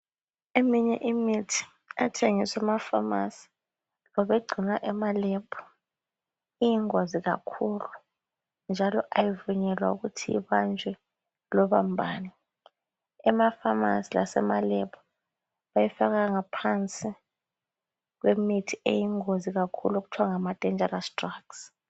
Eminye imithi ethengiswa emafamasi labayi gcina emalebhu iyingozi kakhulu njalo ayivunyelwa ukuthi ibanjwe loba mbani, emafamasi lasemalebhu bayifaka ngaphansi kwemithi eyingozi kakhulu okuthwa ngama denjarasi dragsi.